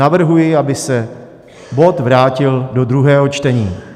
Navrhuji, aby se bod vrátil do druhého čtení.